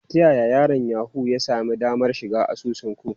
Ta yaya yaron Yahoo ya sami damar shiga asusun ku?